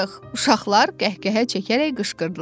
Uşaqlar qəhqəhə çəkərək qışqırdılar.